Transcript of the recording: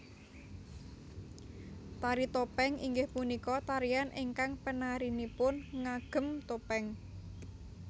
Tari Topèng inggih punika tarian ingkang penarinipun ngagem topéng